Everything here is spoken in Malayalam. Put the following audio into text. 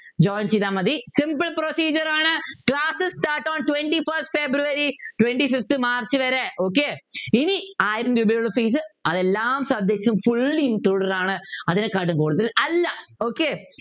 join ചെയ്താ മതി simple procedure ആണ് classes start on twentyfirst February twntyfifth March വരെ ഓകായ്‌ ഇനി ആരും അതെല്ലാം ശ്രദ്ധിച്ചു full includes ആണ് അതിനെക്കാട്ടിലും കൊടുത്താൽ അല്ല okay